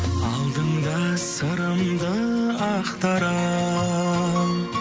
алдыңда сырымды ақтара